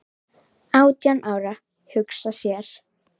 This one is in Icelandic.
Átján ára, hugsa sér!